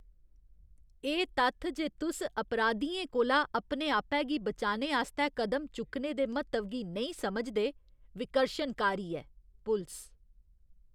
एह् तत्थ जे तुस अपराधियें कोला अपने आपै गी बचाने आस्तै कदम चुक्कने दे म्हत्तव गी नेईं समझदे, विकर्शनकारी ऐ। पुलस